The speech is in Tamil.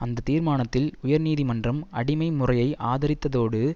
அந்த தீர்மானத்தில் உயர் நீதி மன்றம் அடிமை முறையை ஆதரித்ததோடு